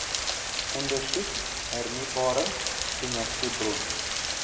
ondersoek hernieubare energiebronne